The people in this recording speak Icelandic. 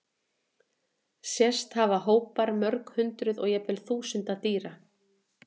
Sést hafa hópar mörg hundruð og jafnvel þúsunda dýra.